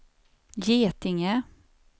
Getinge